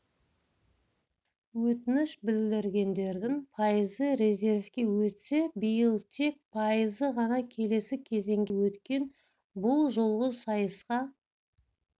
өтініш білдіргендердің пайызы резервке өтсе биыл тек пайызы ғана келесі кезеңге өткен бұл жолғы сайысқа